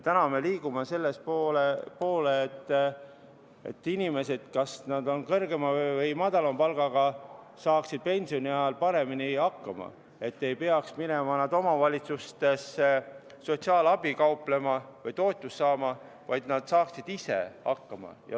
Täna me liigume selle poole, et inimesed, ükskõik, kas nad on kõrgema või madalama palgaga, saaksid pensioni ajal paremini hakkama, et nad ei peaks minema omavalitsustesse sotsiaalabi kauplema või toetust saama, vaid saaksid ise hakkama.